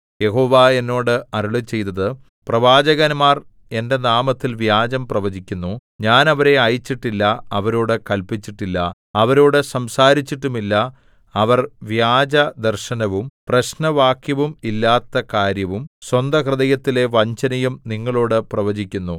യഹോവ എന്നോട് അരുളിച്ചെയ്തത് പ്രവാചകന്മാർ എന്റെ നാമത്തിൽ വ്യാജം പ്രവചിക്കുന്നു ഞാൻ അവരെ അയച്ചിട്ടില്ല അവരോടു കല്പിച്ചിട്ടില്ല അവരോടു സംസാരിച്ചിട്ടുമില്ല അവർ വ്യാജദർശനവും പ്രശ്നവാക്യവും ഇല്ലാത്ത കാര്യവും സ്വന്തഹൃദയത്തിലെ വഞ്ചനയും നിങ്ങളോടു പ്രവചിക്കുന്നു